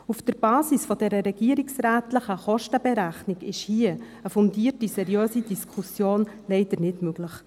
Auf der Basis dieser regierungsrätlichen Kostenberechnung ist hier eine fundierte, seriöse Diskussion leider nicht möglich.